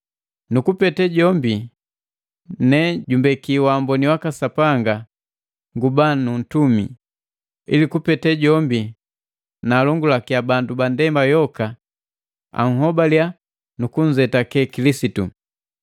Nukupete jombi, ne jumbeki wamboni waka Sapanga nguba nuntumi, ili kupete jombi naalongulakia bandu ba ndema yoka anhobalia nukunzetake Kilisitu.